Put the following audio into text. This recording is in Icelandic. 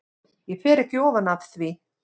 Ég fer ekki ofan af því.